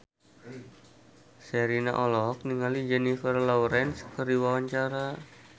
Sherina olohok ningali Jennifer Lawrence keur diwawancara